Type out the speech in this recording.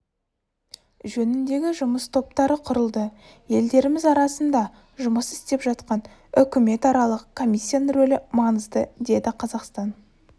жөнінде жұмыс топтары құрылды елдеріміз арасында жұмыс істеп жатқан үкіметаралық комиссияның рөлі маңызды деді қазақстан